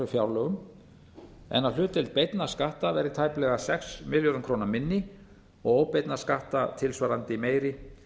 fjárlögum en að hlutdeild beinna skatta verði tæplega sex milljörðum króna minni og óbeinna skatta tilsvarandi meiri